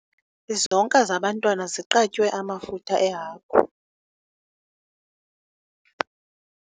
Izonka zabantwana ziqatywe amafutha ehagu.